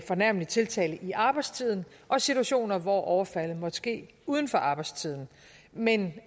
fornærmelig tiltale i arbejdstiden og situationer hvor overfaldet måtte ske uden for arbejdstiden men